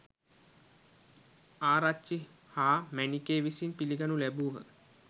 ආරච්චි හා මැණිකේ විසින් පිළිගනු ලැබූහ.